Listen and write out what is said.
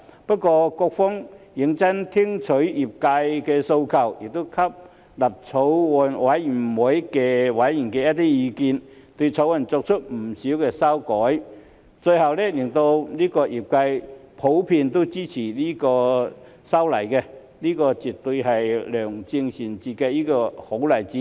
不過，局方認真聆聽業界的訴求，亦吸納法案委員會委員的意見，對《條例草案》作出不少修改，最後令業界都普遍支持這次修例，這絕對是良政善治的好例子。